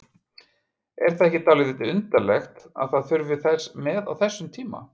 Er það ekki dálítið undarlegt að það þurfi þess með á þessum tíma?